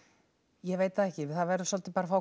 ég veit það ekki það verður svolítið bara að fá